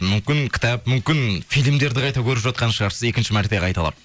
мүмкін кітап мүмкін фильмдерді қайта көріп жатқан шығарсыз екінші мәрте қайталап